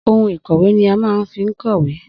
Ohun ìkọ̀wé ni á má ń fi n kọ́wé